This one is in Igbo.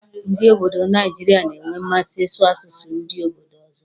Ndị obodo Naijiria na-enwe mmasị ị́sụ̀ asụsụ ndị obodo ọzọ.